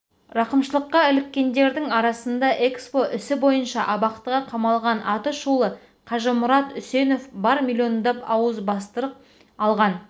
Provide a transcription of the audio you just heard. рақымшылыққа іліккендердің арасында экспо ісі бойынша абақтыға қамалған атышулы қажымұрат үсенов бар миллиондап ауызбастырық алған